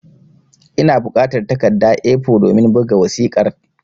Ina bukatar takarda (A4) domin buga wasiƙar